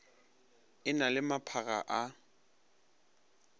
e na le maphakga a